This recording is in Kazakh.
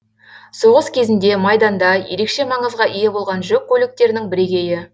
соғыс кезінде майданда ерекше маңызға ие болған жүк көліктерінің бірегейі